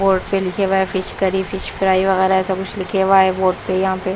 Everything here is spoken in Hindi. बोर्ड पे लिखे हुए हैं फिश करी फिश फ्राय वैगहेरा ऐसा कुछ लिखे हुए हैं बोर्ड पे --